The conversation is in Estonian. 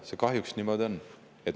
See kahjuks niimoodi on.